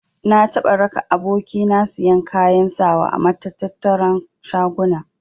Na taɓa raka aboki na siyan kayan sawa a matattara na shaguna.